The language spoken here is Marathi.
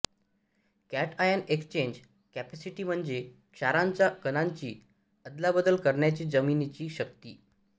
कॅटआयन एक्सचेंज कपॅसिटी म्हणजे क्षारांच्या कणांची अदलाबदल करण्याची जमिनीची शक्ती